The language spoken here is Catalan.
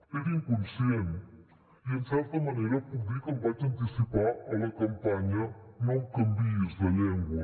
era inconscient i en certa manera puc dir que em vaig anticipar a la campanya no em canviïs de llengua